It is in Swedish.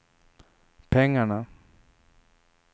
pengarna